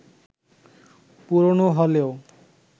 পুরোনো হলেও